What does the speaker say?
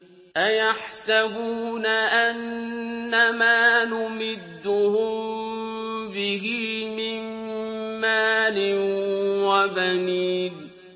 أَيَحْسَبُونَ أَنَّمَا نُمِدُّهُم بِهِ مِن مَّالٍ وَبَنِينَ